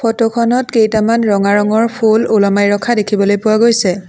Photo খনত কেইটামান ৰঙা ৰঙৰ ফুল ওলমাই ৰখা দেখিবলৈ পোৱা গৈছে।